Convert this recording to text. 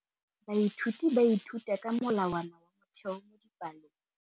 Baithuti ba ithuta ka molawana wa motheo mo dipalong.